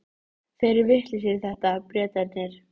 Þeir eru vitlausir í þetta, Bretarnir.